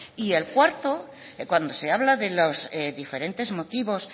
y el cuarto cuando se habla de los diferentes motivos